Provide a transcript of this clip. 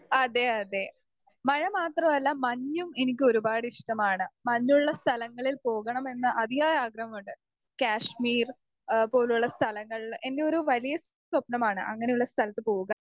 speaker 2 അതെ അതെ മഴ മാത്രല്ല മഞ്ഞും എനിക്ക് ഒരുപാട് ഇഷ്ട്ടമാണ് മഞ്ഞുള്ള സ്ഥലങ്ങളിൽ പോകണമെന്ന് അതിയായ ആഗ്രഹമുണ്ട് കശ്മീർ എഹ് പോലുള്ള സ്ഥലങ്ങൾ ൽ എന്റോരു വലിയ സ്വപ്നമാണ് അങ്ങനെയുള്ള സ്ഥലത്ത് പോവുക